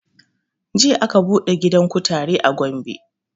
Jiya aka buɗe gidan kutare a gombe